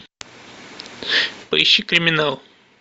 поищи криминал